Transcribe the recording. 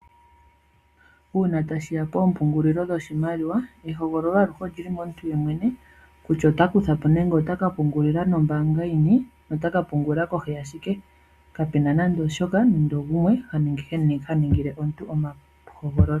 Uuna tashi ya poompungulilo dhoshimaliwa ehogololo aluhe oli li momuntu yemwene kutya ota kutha po nenge ota ka pungula nombaanga yini nota ka pungula kohi ya shike. Kapu na nando ogumwe ha ningile omuntu ehogololo.